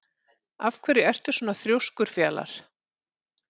Af hverju ertu svona þrjóskur, Fjalar?